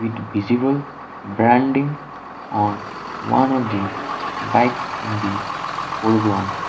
it visible branding on one of the bikes in the foreground.